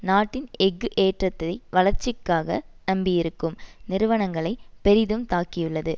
நாட்டின் எஃகு ஏற்றத்தை வளர்ச்சிக்காக நம்பியிருக்கும் நிறுவனங்களை பெரிதும் தாக்கியுள்ளது